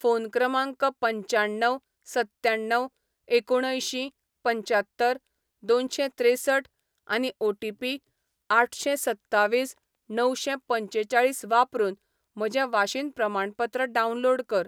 phone क्रमांक पंच्याण्णव सत्त्याण्णव एकुणअंयशीं पंच्यात्तर दोनशें त्रेसठ आनी ओ.टी.पी आठशें सत्तावीस णवशें पंचेचाळीस वापरून म्हजें वाशीन प्रमाणपत्र डावनलोड कर